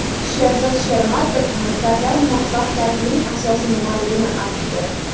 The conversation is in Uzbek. Sherzod Shermatov maktablar muvaffaqiyatining asosi nimaligini aytdi.